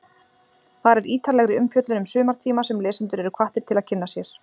Þar er ítarlegri umfjöllun um sumartíma sem lesendur eru hvattir til að kynna sér.